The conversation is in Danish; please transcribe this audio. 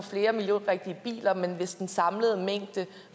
flere miljørigtige biler men hvis den samlede mængde